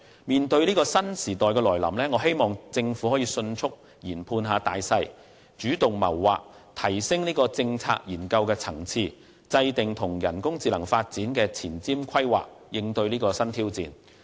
面對這個新時代的來臨，我希望政府能夠迅速研判形勢，主動謀劃，提升政策研究的層次，並制訂人工智能發展的前瞻規劃，以應對新挑戰。